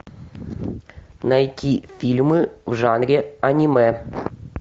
найти фильмы в жанре аниме